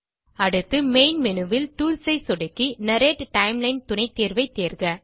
அடுத்து மெயின் Menuல் டூல்ஸ் ஐ சொடுக்கி நர்ரேட் டைம்லைன் துணைத்தேர்வை தேர்க